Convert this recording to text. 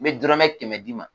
N be dɔrɔmɛ kɛmɛ d'i ma.